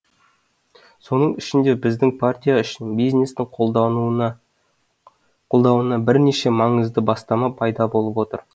соның ішінде біздің партия үшін бизнестің қолдауына бірнеше маңызды бастама пайда болып отыр